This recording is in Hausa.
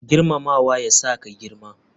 Girmamawa ya sa ka girma.